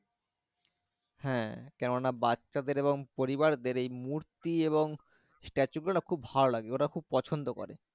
হ্যাঁ কোনো না বাচ্ছা দেড় এবং পরিবার দেড় এই মূর্তি এবং statue গুলো খুব ভালো লাগবে ওরা খুব পছন্দ করে।